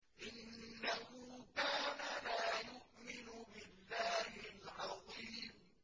إِنَّهُ كَانَ لَا يُؤْمِنُ بِاللَّهِ الْعَظِيمِ